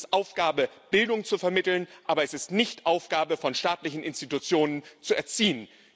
Es ist Aufgabe, Bildung zu vermitteln, aber es ist nicht Aufgabe von staatlichen Institutionen zu erziehen.